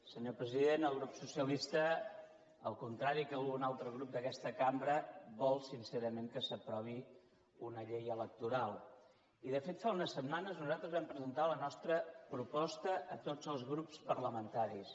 senyor president el grup socialista al contrari que algun altre grup d’aquesta cambra vol sincerament que s’aprovi una llei electoral i de fet fa unes setmanes nosaltres vam presentar la nostra proposta a tots els grups parlamentaris